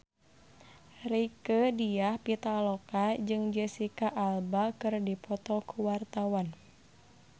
Rieke Diah Pitaloka jeung Jesicca Alba keur dipoto ku wartawan